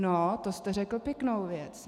No to jste řekl pěknou věc.